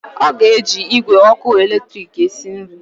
Ọ ga-eji igwe ọkụ eletrik esi nri